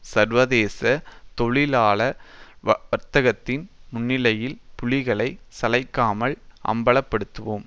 சர்வதேச தொழிலாள வர்க்கத்தின் முன்நிலையில் புலிகளை சளைக்காமல் அம்பலப்படுத்துவோம்